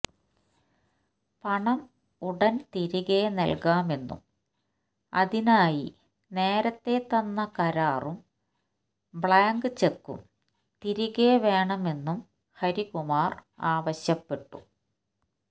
പണം ഉടൻ തിരികെ നൽകാമെന്നും അതിനായി നേരത്തേ തന്ന കരാറും ബ്ലാങ്ക് ചെക്കും തിരികെ വേണമെന്നും ഹരികുമാർ ആവശ്യപ്പെട്ടു